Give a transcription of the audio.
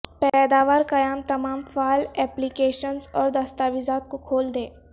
پیداوار قیام تمام فعال ایپلی کیشنز اور دستاویزات کو کھول دیں